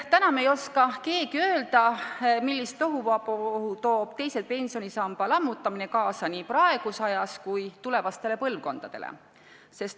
Täna me ei oska keegi öelda, millist tohuvabohu toob teise pensionisamba lammutamine kaasa nii praeguses ajas kui tulevastele põlvkondadele.